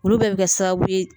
Olu bɛɛ bɛ kɛ sababu ye